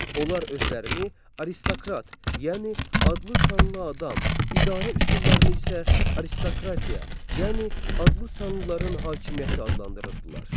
Onlar özlərini aristokrat, yəni adlı-sanlı adam, idarə üsullarını isə aristokratiya, yəni adlı-sanlıların hakimiyyəti adlandırırdılar.